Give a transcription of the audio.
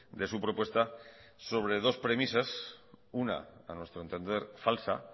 de su propuesta sobre dos premisas una a nuestro entender falsa